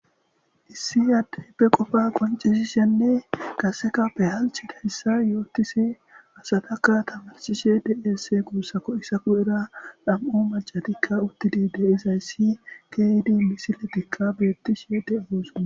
Issi addeeppe qofa qoncisishenne kasekape halchidahyssa yootisi asadaka tamarsishe deesse guussako isaku era dham'u macatikka uttidide izayssi keydu misiletikka beettishe de'osua.